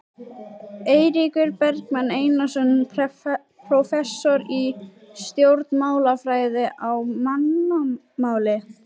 Eiríkur Bergmann Einarsson, prófessor í stjórnmálafræði: Á mannamáli?